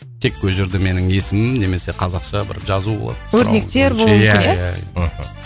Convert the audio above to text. тек ол жерде менің есімім немесе қазақша бір жазу болады өрнектер болуы мүмкін иә иә иә мхм